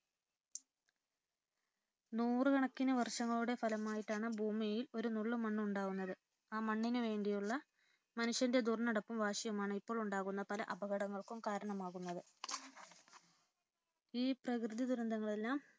നൂറുകണക്കിന് വർഷങ്ങളുടെ ഫലമായിട്ടാണ് ഭൂമിയിൽ ഒരുനുള്ള് മണ്ണുണ്ടാകുന്നത് ആ മണ്ണിന് വേണ്ടിയുള്ള മനുഷ്യന്റെ ദുർനടപ്പും വാശിയുമാണ് ഇപ്പോളുണ്ടാകുന്ന പല അപകടങ്ങൾക്കും കാരണമാകുന്നത്. ഈ പ്രകൃതി ദുരന്തങ്ങളെല്ലാം